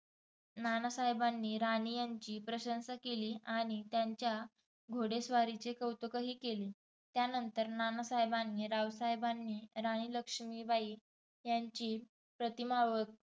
नानासाहेबांनी राणी यांची प्रशंसा केली आणि त्यांच्या घोडेस्वारीचे कौतुकही केले. त्यानंतर नानासाहेबांनी, रावसाहेबांनी राणी लक्ष्मीबाई यांची प्रतिमा ओळखत.